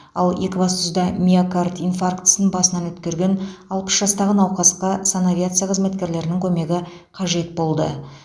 ал екібастұзда миокард инфарктісін басынан өткерген алпыс жастағы науқасқа санавиация қызметкерлерінің көмегі қажет болды